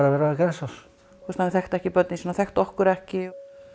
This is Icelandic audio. verið á Grensás hann þekkti ekki börnin sín hann þekkti okkur ekki